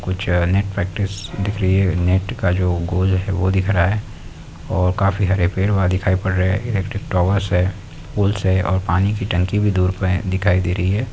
कुछ net practice दिख रही है नेट का जो गोल है वो दिख रहा है और काफी हरे पेड़ वहा दिखाई पड़ रहे हैं इलेक्ट्रिक टावरस है पूल्स है और पानी की टंकी भी दूर पे दिखाई दे रही है।